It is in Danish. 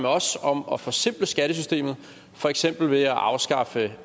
os om at forsimple skattesystemet for eksempel ved at afskaffe